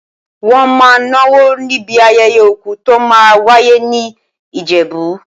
Wọ́n máa náwó níbi ayẹyẹ òkú tó máa wáyé ní Ìjẹ̀bú.